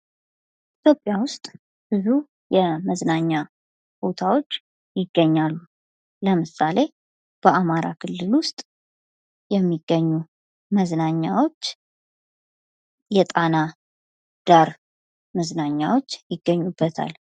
ኢትዮጵያ ውስጥ ብዙ የመዝናኛ ቦታዎች ይገኛሉ ለምሳሌ በአማራ ክልል ውስጥ የሚገኙ መዝናኛዎች የጣና ዳር መዝናኛ ይገኙበታል።